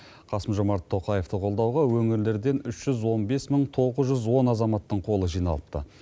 қасым жомарт тоқаевты қолдауға өңірлерден үш жүз он бес мың тоғыз жүз он азаматтың қолы жиналыпты